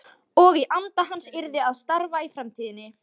Og í anda hans yrði að starfa í framtíðinni.